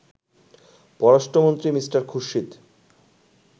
পররাষ্ট্রমন্ত্রী মি. খুরশিদ